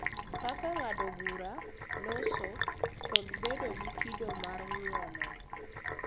Kaka ng’ado bura, loso, kod bedo gi kido mar ng’uono.